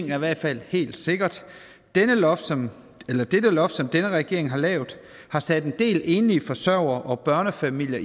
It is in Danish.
i hvert fald helt sikkert dette loft som loft som denne regering har lavet har sat en del enlige forsørgere og børnefamilier